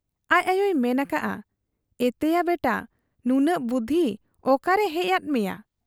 ᱟᱡ ᱟᱭᱚᱭ ᱢᱮᱱ ᱟᱠᱟᱜ ᱟ, 'ᱮᱛᱮᱭᱟ ᱵᱮᱴᱟ ! ᱱᱩᱱᱟᱹᱜ ᱵᱩᱫᱷᱤ ᱚᱠᱟᱨᱮ ᱦᱮᱡ ᱟᱫ ᱢᱮᱭᱟ ?'